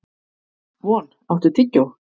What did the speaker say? Von, áttu tyggjó?